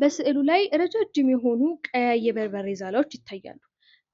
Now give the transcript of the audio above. በስእሉ ላይ ረጃጅም የሆኑ ቀያይ የበርበሬ ዛላዎች ይታያሉ።